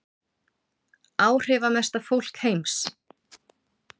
Áhrifamesta fólk heims